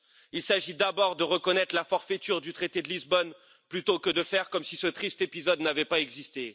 Il s'agit d'abord de reconnaître la forfaiture du traité de Lisbonne, plutôt que de faire comme si ce triste épisode n'avait pas existé.